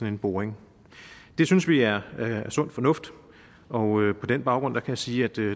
en boring det synes vi er sund fornuft og på den baggrund kan jeg sige at